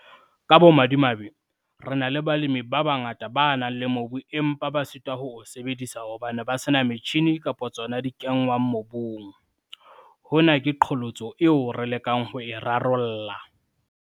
Ka bomadimabe, re na le balemi ba bangata ba nang le mobu empa ba sitwa ho o sebedisa hobane ba se na metjhine kapa tsona tse kenngwang mobung - hona ke qholotso eo re lekang ho e rarolla.